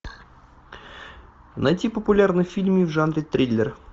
найти популярные фильмы в жанре триллер